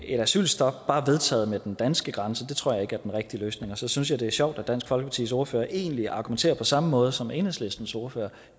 et asylstop ved den danske grænse tror jeg ikke er den rigtige løsning så synes jeg det er sjovt at dansk folkepartis ordfører egentlig argumenterer på samme måde som enhedslistens ordfører